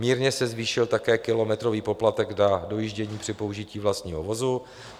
Mírně se zvýšil také kilometrový poplatek na dojíždění při použití vlastního vozu.